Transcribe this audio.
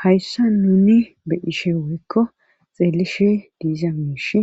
Hayssa nuni be ishe woykko xeelishe diiza miishi